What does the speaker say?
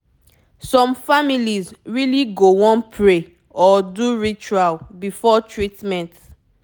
some families really go wan pray or do ritual before treatment